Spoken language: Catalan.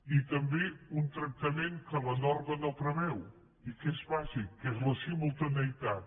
i també un tractament que la norma no preveu i que és bàsic que és la simultaneïtat